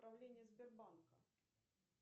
управление сбербанка